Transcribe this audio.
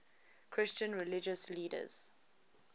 christian religious leaders